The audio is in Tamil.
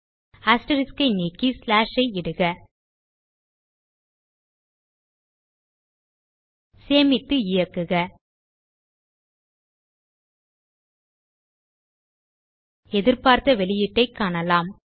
அஸ்டெரிஸ்க் ஐ நீக்கி ஸ்லாஷ் ஐ இடுக சேமித்து இயக்குக எதிர்பார்த்த வெளியீட்டைக் காணலாம்